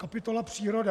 Kapitola příroda.